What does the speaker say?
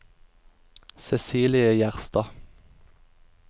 Cecilie Gjerstad